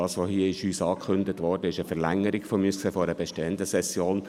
Was uns hier angekündigt wurde, ist aus meiner Sicht eine Verlängerung einer bestehenden Session.